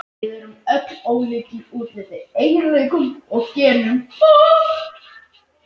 Við erum öll ólík, í útliti, eiginleikum og genum.